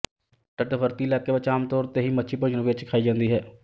ਤੱਟਵਰਤੀ ਇਲਾਕਿਆਂ ਵਿੱਚ ਆਮ ਤੌਰ ਤੇ ਹੀ ਮੱਛੀ ਭੋਜਨ ਵਿੱਚ ਖਾਈ ਜਾਂਦੀ ਹੈ